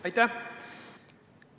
Aitäh!